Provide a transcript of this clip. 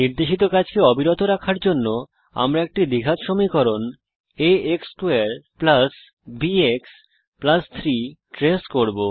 নির্দেশিত কাজ অবিরত রাখার জন্য আমরা একটি দ্বিঘাত সমীকরণ a x2 বিএক্স 3 ট্রেস করব